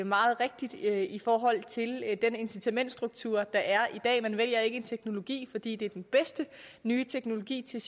meget rigtigt i forhold til den incitamentsstruktur der er i dag man vælger ikke en teknologi fordi det er den bedste nye teknologi til